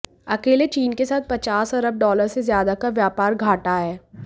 अकेले चीन के साथ पचास अरब डॉलर से ज्यादा का व्यापार घाटा है